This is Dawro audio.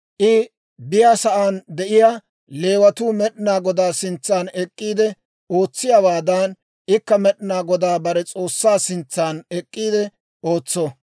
I biyaasan de'iyaa Leewatuu Med'inaa Godaa sintsan ek'k'iide ootsiyaawaadan, ikka Med'inaa Godaa bare S'oossaa sintsan ek'k'iide ootso.